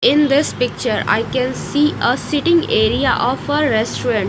in this picture i can see a sitting area of a restaurant.